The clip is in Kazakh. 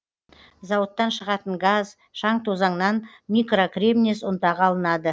зауыттан шығатын газ шаң тозаңнан микрокремнез ұнтағы алынады